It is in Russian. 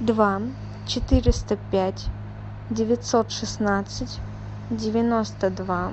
два четыреста пять девятьсот шестнадцать девяносто два